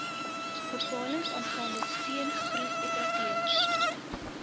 bepalings aangaande steengroefoperateurs